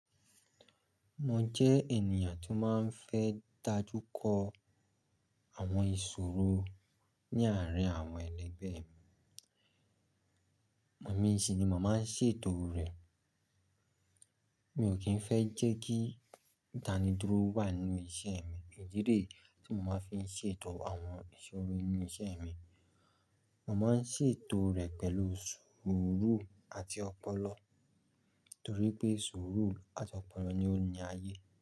Mo jẹ́ ènìyàn tó máa ń fẹ́ dájú kọ àwọn ìṣòro ní àárín àwọn ẹlẹgbẹ́ mi. Mò mí sinimọ máa ń ṣètò rẹ̀. Mi ò kí ń fẹ́ jẹ́ kí ìtanidúró wà nínú iṣẹ́ mi. Ìdí re tí mo máa ń fi ṣètò àwọn ìṣòro nínú iṣẹ́ mi. Mo máa ń ṣètò rẹ̀ pẹ̀lú sùúrù àti ọpọlọ, torí pé sùúrù àti ọpọlọ ni ó ní ayé.